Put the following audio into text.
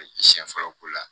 Ka jiyɛn fɔlɔ ko la